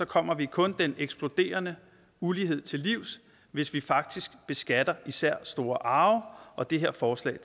kommer vi kun den eksploderende ulighed til livs hvis vi faktisk beskatter især store arve og det her forslag